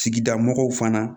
Sigida mɔgɔw fana